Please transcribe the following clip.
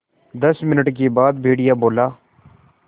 दस मिनट के बाद भेड़िया बोला